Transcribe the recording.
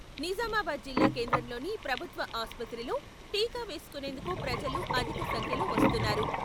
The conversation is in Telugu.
నిజామాబాద్ జిల్లా కేంద్రంలోని ప్రభుత్వ ఆస్పత్రిలో టీకా వేసుకు నేందుకు ప్రజలు అధిక సంఖ్యలో వస్తున్నారు.